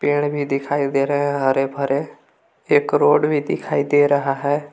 पेड़ भी दिखाई दे रहे हैं हरे भरे एक रोड भी दिखाई दे रहा है।